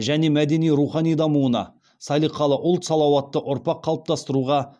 және мәдени рухани дамуына салиқалы ұлт салауатты ұрпақ қалыптастыруға